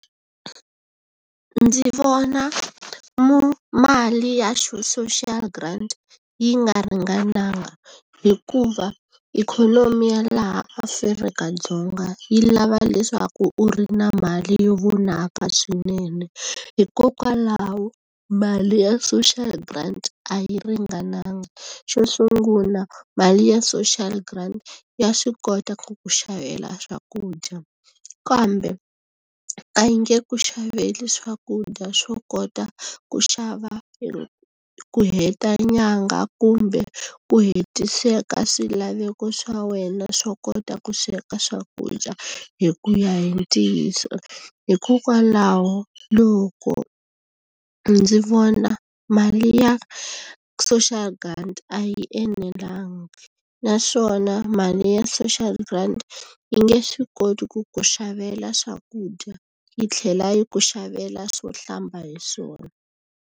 Ndzi vona mali ya social grant yi nga ringananga hikuva ikhonomi ya laha Afrika-Dzonga yi lava leswaku u ri na mali yo vonaka swinene, hikokwalaho mali ya social grant a yi ringananga. Xo sungula mali ya social grant ya swi kota ku ku xavela swakudya, kambe a yi nge ku xaveli swakudya swo kota ku xava ku heta nyangha kumbe ku hetiseka swilaveko swa wena swo kota ku sweka swakudya, hi ku ya hi ntiyiso. Hikokwalaho loko ndzi vona mali ya social grant a yi enelanga. Naswona mali ya social grant yi nge swi koti ku ku xavela swakudya yi tlhela yi ku xavela swo hlamba hi swona.